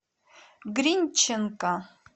гринченко